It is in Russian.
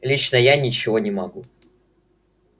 лично я ничего не могу